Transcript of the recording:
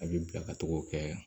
A bɛ bila ka tugu kɛ